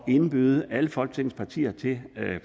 indbyder alle folketingets partier til